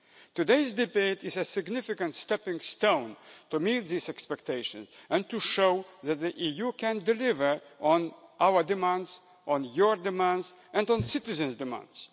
Today's debate is a significant stepping stone on the way to meeting these expectations and to showing that the EU can deliver on our demands, on your demands and on citizens' demands.